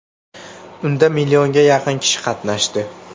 Unda millionga yaqin kishi qatnashdi.